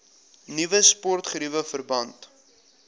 nuwe sportgeriewe verband